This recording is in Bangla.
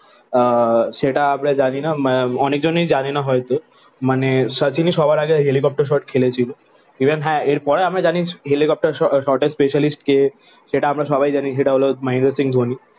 আহ সেটা আমরা জানিনা অনেকজনই জানিনা হয়তো মানে শচীনই সবার আগে হেলিকপ্টার শট খেলেছিল। ইভেন হ্যাঁ এর পরে আমরা জানি হেলিকপ্টার শ শটের স্পেশালিস্ট কে? সেটা আমরা সবাই জানি সেটা হলো মহেন্দ্র সিং ধোনি।